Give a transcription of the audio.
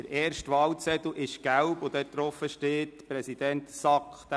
Auf dem ersten gelben Wahlzettel steht «Präsident SAK».